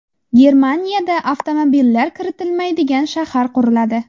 Germaniyada avtomobillar kiritilmaydigan shahar quriladi.